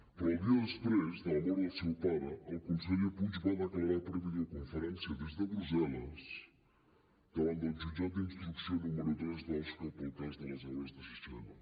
però el dia després de la mort del seu pare el conseller puig va declarar per videoconferència des de brussel·les davant del jutjat d’instrucció número tres d’osca pel cas de les obres de sixena